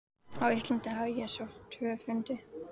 Á Íslandi hafði ég sótt tvo fundi.